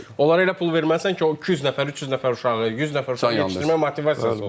Onlara elə pul verməlisən ki, o 200 nəfər, 300 nəfər uşağı, 100 nəfər uşağı yetişdirmək motivasiyası olsun.